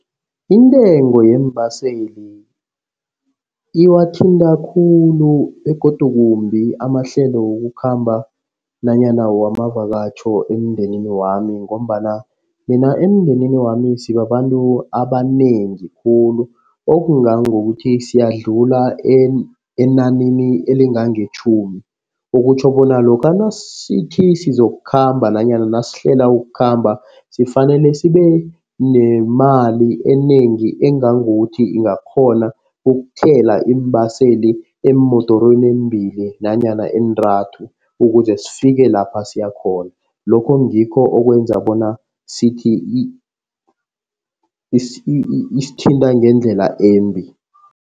Intengo yeembaseli iwathinta khulu begodu kumbi amahlelo wokukhamba nanyana wamavakatjho emndenini wami ngombana mina emndenini wami sibabantu abanengi khulu okungangokuthi siyadlula enanini elingangetjhumi. Okutjho bona lokha nasithi sizokukhomba nanyana nasihlela ukukhamba sifanele sibe nemali enengi. Engangokuthi ingakghona ukuthela iimbaseli eemodorweni embili nanyana eentathu. Ukuze sifike lapha siyakhona lokho ngikho okwenza bona sithi isithinta ngendlela embi.